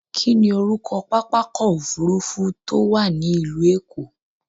Kí ni orúkọ pápákọ̀ òfurufú tó wà ní ìlú Èkó?